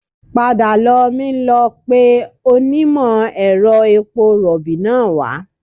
Padà lọ mi lọ pe onímọ̀-ẹ̀rọ epo rọ̀bì náà wá